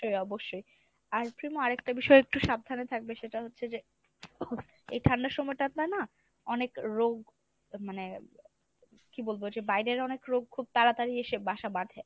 অবশ্যই , আর প্রিমো আরেকটা বিষয় একটু সাবধানে থাকবে সেটা হচ্ছে যে এই ঠান্ডার সময়টা না অনেক রোগ মানে কী বলবো যে বাইরের অনেক রোগ খুব তাড়াতাড়ি এসে বাসা বাঁধে।